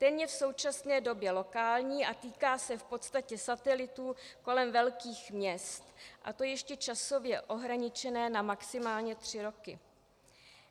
Ten je v současné době lokální a týká se v podstatě satelitů kolem velkých měst, a to ještě časově ohraničené na maximálně tři roky.